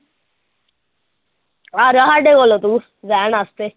ਆ ਜਾ ਸਾਡੇ ਕੋਲ ਤੂੰ ਰਹਿਣ ਵਾਸਤੇ